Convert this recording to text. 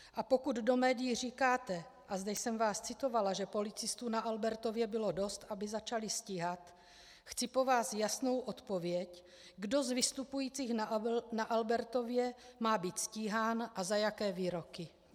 A pokud do médií říkáte, a zde jsem vás citovala, že policistů na Albertově bylo dost, aby začali stíhat, chci po vás jasnou odpověď, kdo z vystupujících na Albertově má být stíhán a za jaké výroky.